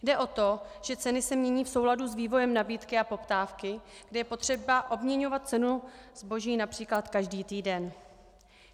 Jde o to, že ceny se mění v souladu s vývojem nabídky a poptávky, kdy je potřeba obměňovat cenu zboží například každý týden.